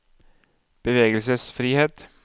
bevegelsesfrihet